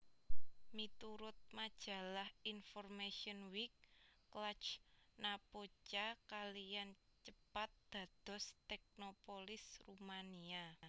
Miturut majalah InformationWeek Cluj Napoca kaliyan cepat dados teknopolis Rumania